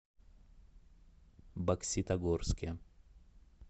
бокситогорске